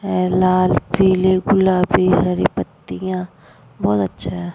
है लाल पीली गुलाबी हरी पत्तिया बोहोत अच्छा है।